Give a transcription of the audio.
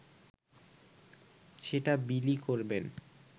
সেটা বিলি করবেন